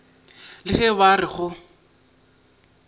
le ge ba re go